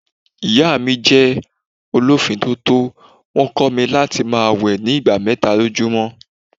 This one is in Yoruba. Ìyá mí jẹ́ ọ lọ fì tótó, wón kó mi láti máa wẹ̀ ni ìgbà mẹ́ta lójú mọ́.